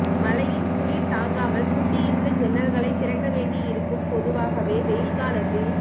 மழையின் குளிர் தாங்காமல் பூட்டியிருந்த ஜன்னல்களைத் திறக்க வேண்டியிருக்கும் பொதுவாகவே வெயில் காலத்தில்